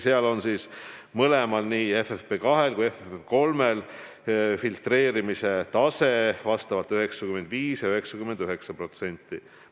Ja mõlemal, nii FFP2-l kui ka FFP3-l on filtreerimise tase vastavalt 95% ja 99%.